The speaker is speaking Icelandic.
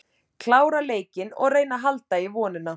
Klára leikinn og reyna að halda í vonina.